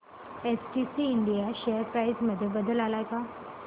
STC India share price मध्ये बदल आलाय का